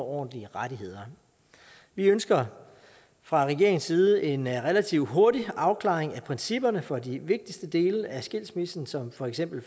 ordentlige rettigheder vi ønsker fra regeringens side en relativt hurtig afklaring af principperne for de vigtigste dele af skilsmissen som for eksempel